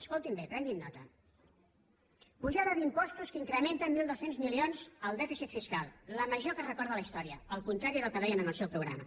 escoltin bé prenguinne nota apujada d’impostos que incrementa en mil dos cents milions el dèficit fiscal la major que es recorda en la història al contrari del que deien en el seu programa